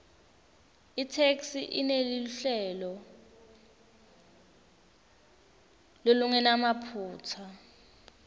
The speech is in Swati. itheksthi ineluhlelo lolungenamaphutsa